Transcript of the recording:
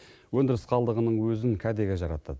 өндіріс қалдығының өзін кәдеге жаратады